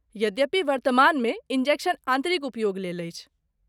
यद्यपि, वर्तमानमे, इन्जेक्शन आन्तरिक उपयोग लेल अछि।